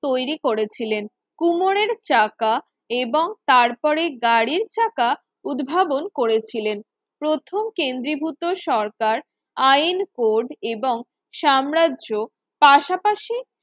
তৈরি করেছিলেন কুমোরের চাকা এবং তারপরে গাড়ির চাকা উদ্ভাবন করেছিলেন প্রথম কেন্দ্রীভূত সরকার আইন কোড এবং সাম্রাজ্য পাশাপাশি